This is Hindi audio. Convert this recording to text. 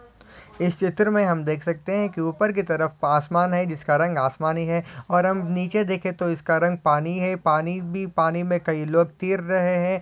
इस चित्र मे हम देख सखते है की उपर की तरफ आसमान है जिसका रंग आसमानी है और हम निचे देखे तो इसका रंग पानी है पानी भी पानी मे काही लोग तीर रहे है।